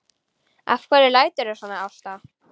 Af hverju læturðu svona Ásta?